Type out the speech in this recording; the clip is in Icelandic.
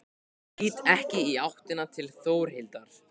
Lít ekki í áttina til Þórhildar.